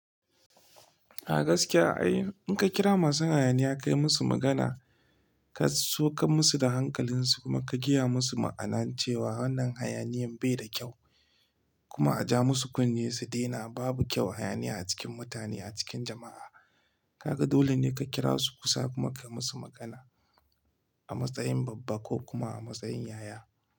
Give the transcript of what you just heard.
A gaskiya ai in ka kira masu hayaniya ka yi musu magana, ka saukar musu da hankalinsu kuma ka gaya musu ma'ana cewa wannan hayaniyan bai da kyau. Kuma a ja musu kunne su daina, babu kyau hayaniya a cikin mutane a cikin jama'a. Kaga dole ne ka kira su kusa kuma ka yi musu magana a matsayin babba ko kuma a matsayin yaya.